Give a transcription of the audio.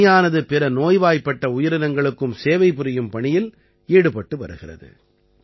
இந்த அணியானது பிற நோய்வாய்ப்பட்ட உயிரினங்களுக்கும் சேவை புரியும் பணியில் ஈடுபட்டு வருகிறது